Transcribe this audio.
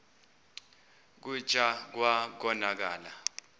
kclta wa konakala